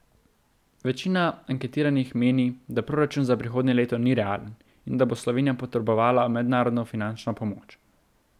Večina anketiranih meni, da proračun za prihodnje leto ni realen in da bo Slovenija potrebovala mednarodno finančno pomoč.